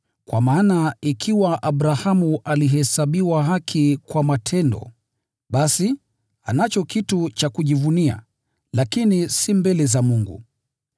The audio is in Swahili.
Kwa maana ikiwa Abrahamu alihesabiwa haki kwa matendo, basi, anacho kitu cha kujivunia, lakini si mbele za Mungu.